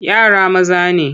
Yara maza ne.